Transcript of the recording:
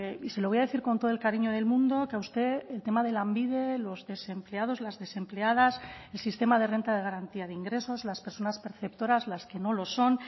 y se lo voy a decir con todo el cariño del mundo que a usted el tema de lanbide los desempleados las desempleadas el sistema de renta de garantía de ingresos las personas perceptoras las que no lo son